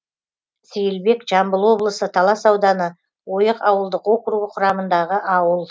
сейілбек жамбыл облысы талас ауданы ойық ауылдық округі құрамындағы ауыл